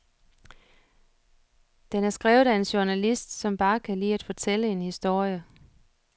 Den er skrevet af en journalist, som bare kan lide at fortælle en historie.